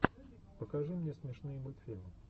покажи мне смешные мультфильмы